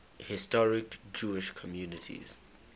historic jewish communities